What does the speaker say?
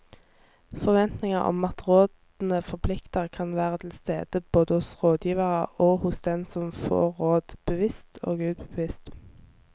Forventninger om at rådene forplikter kan være til stede både hos rådgiverne og hos den som får råd, bevisst og ubevisst.